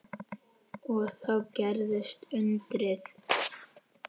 Og þá gerðist undrið.